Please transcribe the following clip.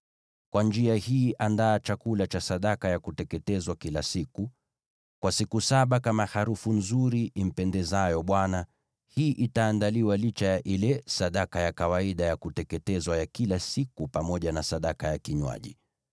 Kwa njia hii andaa chakula cha sadaka ya kuteketezwa kila siku, kwa siku saba kama harufu nzuri impendezayo Bwana . Hii itaandaliwa licha ya ile sadaka ya kawaida ya kuteketezwa ya kila siku pamoja na sadaka yake ya kinywaji.